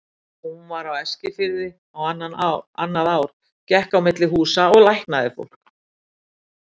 Hún var á Eskifirði á annað ár, gekk á milli húsa og læknaði fólk.